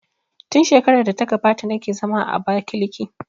Tun shekarar da ta gabata na ke zama a Abakiliki